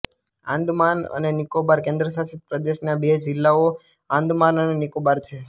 આંદામાન અને નિકોબાર કેન્દ્રશાસિત પ્રદેશના બે જિલ્લાઓ આંદામાન અને નિકોબાર છે